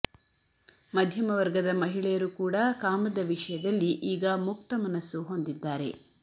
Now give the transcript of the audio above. ಮಧ್ಯಮ ವರ್ಗದ ಮಹಿಳೆಯರು ಕೂಡ ಕಾಮದ ವಿಷಯದಲ್ಲಿ ಈಗ ಮುಕ್ತ ಮನಸ್ಸು ಹೊಂದಿದ್ದಾರೆ